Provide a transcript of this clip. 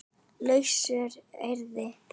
lausu orði